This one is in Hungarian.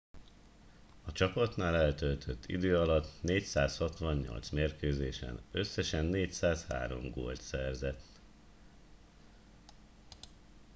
a csapatnál eltöltött idő alatt 468 mérkőzésen összesen 403 gólt szerzett